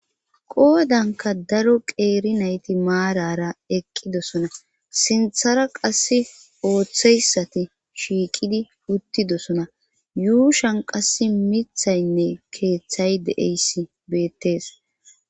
Qoodanka daro qeeri nayti maarara eqqidosona sinthara qass ooththeyssati shiiqidi uttidosona yuushan qass mithaynne keeththay de7eyssi beettees.